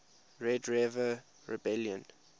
red river rebellion